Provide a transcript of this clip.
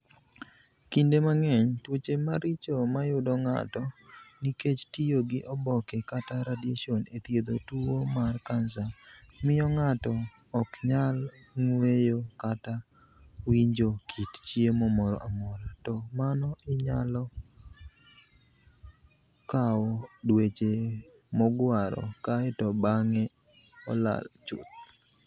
Kinide manig'eniy, tuoche maricho mayudo nig'ato niikech tiyo gi oboke kata radiationi e thiedho tuwo mar kanisa, miyo nig'ato ok niyal nig'weyo kata winijo kit chiemo moro amora, to mano niyalo kawo dweche mogwaro, kae to banig'e olal chuth.